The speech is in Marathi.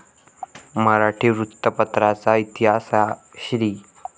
मराठी वृत्तपत्राचा इतिहास, या श्री.